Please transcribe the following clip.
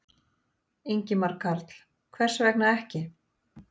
Ingimar Karl: Hvers vegna ekki?